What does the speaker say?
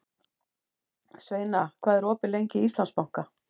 Sveina, hvað er opið lengi í Íslandsbanka?